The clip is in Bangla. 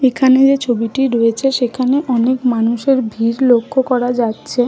এখানে যেই ছবিটি রয়েছে সেখানে অনেক মানুষের ভিড় লক্ষ্য করা যাচ্ছে ।